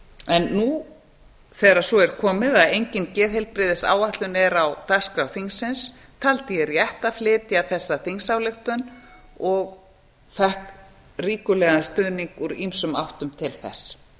en nú þegar svo er komið að engin geðheilbrigðisáætlun er á dagskrá þingsins taldi ég rétt að flytja þessa þingsályktun og fékk ríkulegan stuðning úr ýmsum áttum til þess